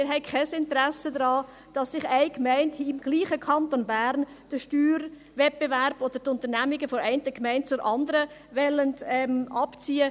Wir haben kein Interesse daran, dass eine Gemeinde im selben Kanton Bern den Steuerwettbewerb oder die Unternehmung von einer Gemeinde zur anderen abzieht.